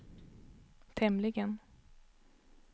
tämligen